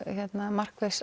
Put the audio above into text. markviss